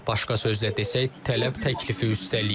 Başqa sözlə desək, tələb təklifi üstələyib.